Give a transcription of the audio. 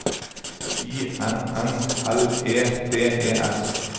I N N L E D E S